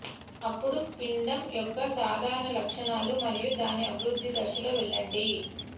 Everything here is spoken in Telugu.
అప్పుడు పిండం యొక్క సాధారణ లక్షణాలు మరియు దాని అభివృద్ధి దశల్లో వెళ్లండి